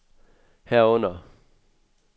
herunder